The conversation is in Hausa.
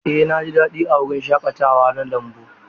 Eh na ji daɗi a wurin shaƙatawa na lambu.